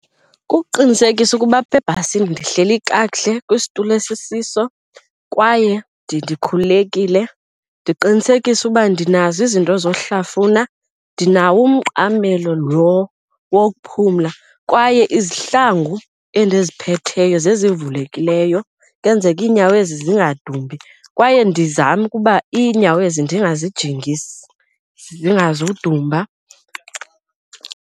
Kukuqinisekisa ukuba apha ebhasini ndihleli kakuhle kwisitulo esisiso kwaye ndikhululekile. Ndiqinisekise ukuba ndinazo izinto zohlafuna, ndinawo umqamelo lo wokuphumla kwaye izihlangu endiphetheyo zezivuleyo kwenzeke iinyawo ezi zingadumbi. Kwaye ndizame ukuba iinyawo ezi ndingazijingisi zingazudumba.